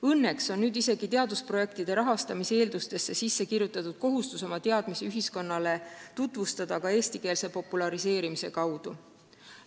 Õnneks on nüüd isegi teadusprojektide rahastamise tingimustesse sisse kirjutatud kohustus oma töid ühiskonnale tutvustada ka eestikeelse populariseerimise kaudu.